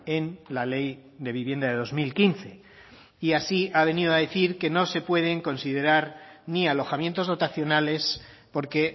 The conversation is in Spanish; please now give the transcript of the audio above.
en la ley de vivienda de dos mil quince y así ha venido a decir que no se pueden considerar ni alojamientos dotacionales porque